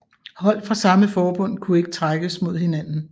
Hold fra samme forbund kunne ikke trækkes mod hinanden